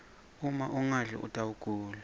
uma ungadli utawgula